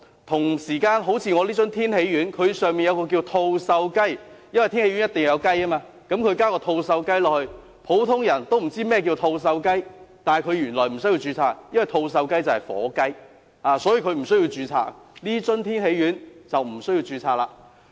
同時，好像我這樽天喜丸，它內含一種叫作吐綬雞的成分——因為天喜丸一定要有雞——它加入吐綬雞，普通人不知道甚麼是吐綬雞，但原來它不需要註冊，因為吐綬雞就是火雞，不需要註冊，所以這樽天喜丸便不需要註冊。